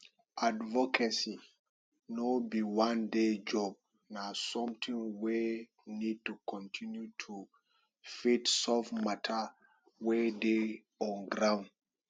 advocacy no be one day job na something wey need to continue to fit solve matter wey dey on ground